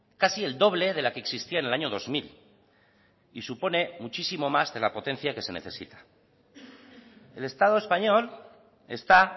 casi el doble de la que existía en el año dos mil y supone muchísimo más de la potencia que se necesita el estado español está